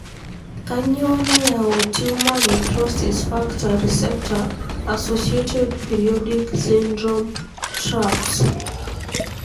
kanyio nayau tumor necrosis factor receptor associated periodic syndrome (TRAPS)?